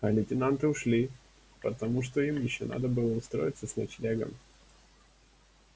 а лейтенанты ушли потому что им ещё надо было устроиться с ночлегом